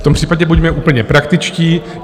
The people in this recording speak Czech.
V tom případě buďme úplně praktičtí.